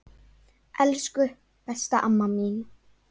Elsku, besta amma mín.